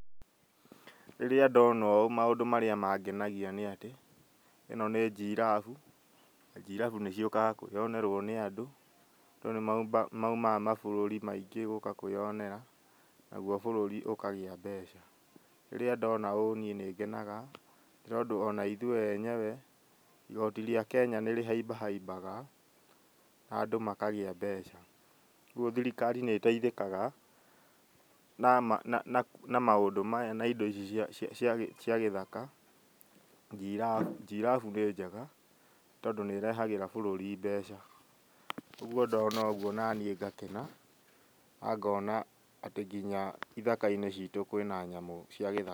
Rĩrĩa ndona ũũ maũndũ marĩa mangenagia nĩ atĩ ĩno nĩ njirabu. Njirabu nĩciũkaga kwĩyonerwo nĩ andũ. Andũ nĩ maumaga mabũrũri maingĩ gũka kwĩyonera, naguo bũrũri ũkagĩa mbeca. Rĩrĩa ndona ũũ niĩ nĩ ngenaga nĩ tondũ onaithuĩ enyewe igoti rĩa Kenya nĩrĩhaimbahaimbaga na andũ makagĩa mbeca. Ũguo thirikari nĩ ĩteithĩkaga na na na maũndũ maya na indo ici cia cia cia gĩthaka. Njirabu njirabu nĩ njega tondũ nĩ ĩrehagĩra bũrũri mbeca, ũguo ndona ũguo nani ngakena na ngona atĩ nginya ithaka-inĩ citũ kwĩna nyamũ cia..